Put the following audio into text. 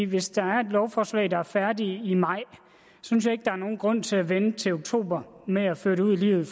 hvis der er et lovforslag der er færdigt i maj synes jeg ikke der er nogen grund til at vente til oktober med at føre det ud i livet